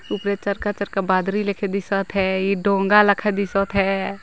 Uber तरका -तरका बाद्री रखे दिसत है